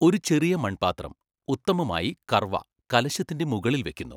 ഒരു ചെറിയ മൺപാത്രം, ഉത്തമമായി കർവ, കലശത്തിന്റെ മുകളിൽ വെയ്ക്കുന്നു.